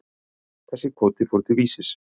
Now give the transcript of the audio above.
Þessi kvóti fór til Vísis.